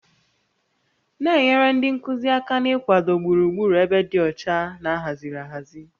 Na-enyere ndị nkuzi aka n'ịkwado gburugburu ebe dị ọcha na ahaziri ahazi